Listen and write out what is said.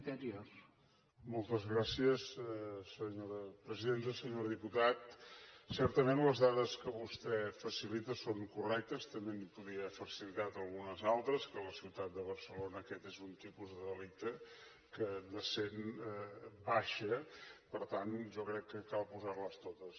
senyor diputat certament les dades que vostè facilita són correctes també n’hi podria facilitar algunes altres que a la ciutat de barcelona aquest és un tipus de delicte que de cent baixa per tant jo crec que cal posar les totes